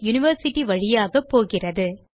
university வழியாக போகிறது